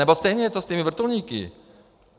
Nebo stejné je to s těmi vrtulníky.